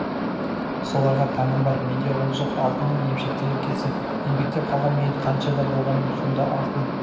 соларға таңым бар менде ол жоқ алтынның емшектегі кезі еңбектеп қалған мен қаншада болғаным сонда алтын